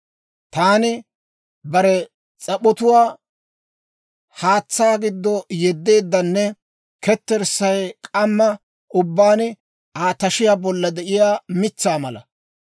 Taani bare s'ap'otuwaa haatsaa giddo yeddeeddanne ketterssay k'amma ubbaan Aa tashiyaa bolla de'iyaa mitsaa mala.